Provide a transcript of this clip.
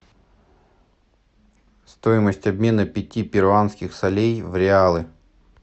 стоимость обмена пяти перуанских солей в реалы